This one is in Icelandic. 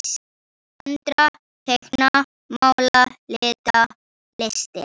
Föndra- teikna- mála- lita- listir